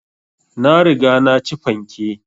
Na riga na ci fanke